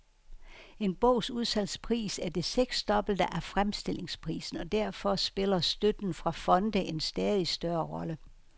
En bogs udsalgspris er det seksdobbelte af fremstillingsprisen, og derfor spiller støtten fra fonde en stadig større rolle.